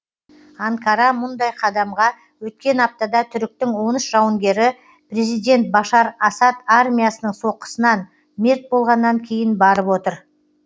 анкара мұндай қадамға өткен аптада түріктің он үш жауынгері президент башар асад армиясының соққысынан мерт болғаннан кейін барып отыр